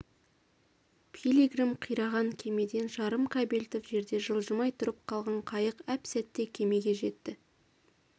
пилигрим қираған кемеден жарым кабельтов жерде жылжымай тұрып қалған қайық әп-сәтте кемеге жетті